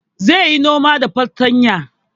Zai yi noma da fartanya